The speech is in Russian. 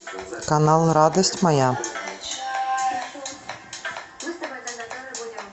канал радость моя